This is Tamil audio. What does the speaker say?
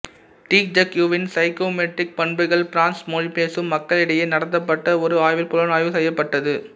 டிஈஐக்யூவின் சைக்கோமெட்ரிக் பண்புகள் ஃபிரென்சு மொழி பேசும் மக்களிடையே நடத்தப்பட்ட ஒரு ஆய்வில் புலனாய்வு செய்யப்பட்டது